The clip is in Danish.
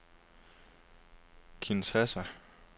Kinshasa